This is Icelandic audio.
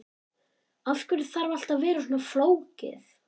Af hverju þarf allt að vera svona flókið?